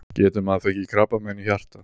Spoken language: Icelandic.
Getur maður fengið krabbamein í hjartað?